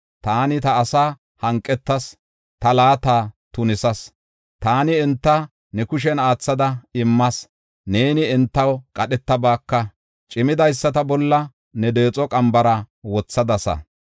Taani ta asaa hanqetas; ta laata tunisas; taani enta ne kushen aathada immas. Neeni entaw qadhetabaaka; cimidaysata bolla ne deexo qambara wothadasa.